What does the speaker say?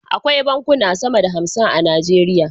Akwai bankuna sama da hamsin a nigeria